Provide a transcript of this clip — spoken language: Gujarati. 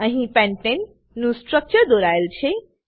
અહી પેન્ટને નું સ્ટ્રક્ચર દોરાયેલ છે